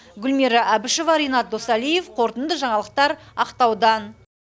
гүлмира әбішева ренат досалиев қорытынды жаңалықтар ақтаудан